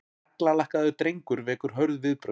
Naglalakkaður drengur vekur hörð viðbrögð